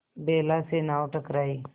बेला से नाव टकराई